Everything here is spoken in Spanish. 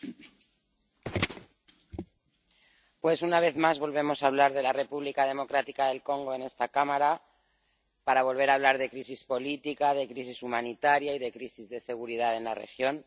Señor presidente. Pues, una vez más, volvemos a hablar de la República Democrática del Congo en esta Cámara para volver a hablar de crisis política, de crisis humanitaria y de crisis de seguridad en la región.